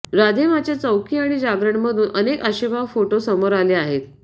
राधे मांच्या चौकी आणि जागरणमधून अनेक आक्षेपार्ह फोटो समोर आले आहेत